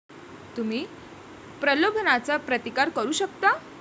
तुम्ही प्रलोभनाचा प्रतिकार करू शकता!